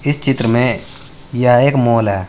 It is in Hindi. इस चित्र में यह एक मॉल है।